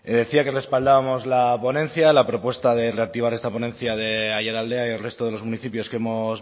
decía que respaldábamos la ponencia la propuesta de reactivar esta ponencia de aiaraldea y el resto de los municipios que hemos